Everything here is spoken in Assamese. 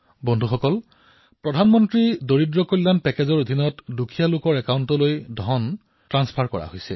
বন্ধুসকল প্ৰধানমন্ত্ৰী গৰীব কল্যাণ পেকেজৰ অধীনত দৰিদ্ৰ লোকসকলৰ একাউণ্টলৈ প্ৰত্যক্ষভাৱে ধন স্থানান্তৰ কৰা হৈছে